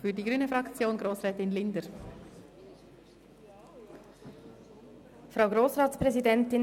Zu diesem vorliegenden Geschäft sind zwei Dinge festzuhalten.